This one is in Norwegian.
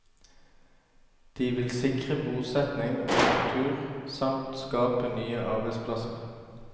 De vil sikre bosetning og kultur, samt skape nye arbeidsplasser.